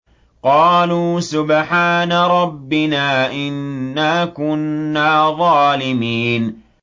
قَالُوا سُبْحَانَ رَبِّنَا إِنَّا كُنَّا ظَالِمِينَ